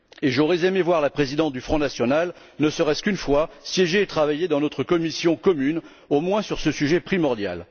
J'aurais aimé voir la présidente du Front national, ne serait ce qu'une fois, siéger et travailler dans notre commission commune, au moins sur ce sujet primordial.